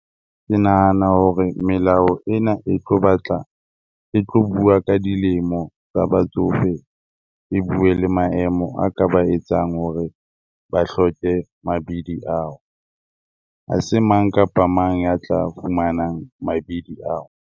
Ke nahana hore melao ena e tlo batla e tlo bua ka dilemo tsa batsofe, e bue le maemo a ka ba etsang hore ba hloke mabidi ao, ha se mang kapa mang ya tla fumanang mabidi ao.